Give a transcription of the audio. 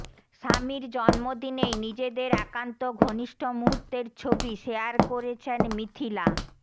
স্বামীর জন্মদিনেই নিজেদের একান্ত ঘনিষ্ঠ মুহূর্তের ছবি শেয়ার করেছেন মিথিলা